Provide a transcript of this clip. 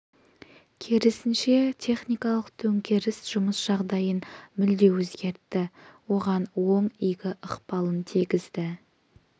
керісінше техникалық төңкеріс жұмыс жағдайын мүлде өзгертті оған оң игі ықпалын тигізді